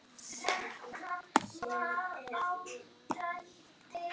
Og hvernig er bragðið?